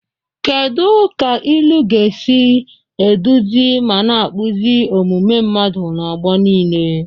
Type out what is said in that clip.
Kedu ka ilu ga-esi na-eduzi ma na-akpụzi omume mmadụ n'ọgbọ niile?